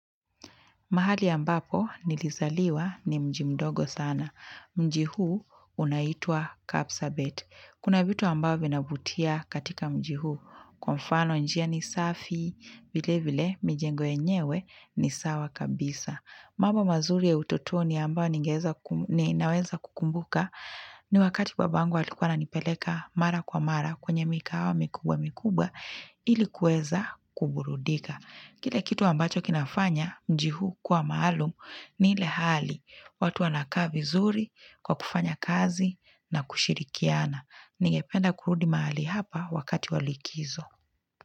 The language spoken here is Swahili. Mahali ambapo nilizaliwa ni mjimdogo sana. Mji huu unaitwaa kapsabet. Kuna vitu ambao vinavutia katika mji huu. Kwa mfano njia ni safi, vile vile, mijengo yenyewe ni sawa kabisa. Mambo mazuri ya utotoni ambayo ninaweza kukumbuka. Ni wakati baba angu alikuwa ana nipeleka mara kwa mara kwenye mikawa mikubwa mikubwa ilikuweza kuburudika. Kile kitu ambacho kinafanya mjii huu kuwa maalum ni ile hali watu wanakaa vizuri kwa kufanya kazi na kushirikiana. Ningependa kurudi mahali hapa wakati walikizo.